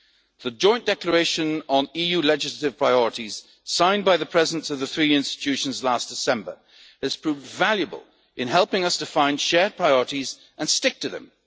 mandate. The Joint Declaration on EU legislative priorities, signed by the Presidents of the three institutions last December, has proved valuable in helping us to find shared priorities and